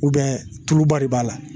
tulu ba de b'a la.